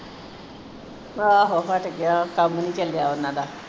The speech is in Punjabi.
ਆਹੋ ਹਟ ਗਿਆ ਕੰਮ ਨਹੀ ਚਲਿਆ ਉਹਨਾਂ ਦਾ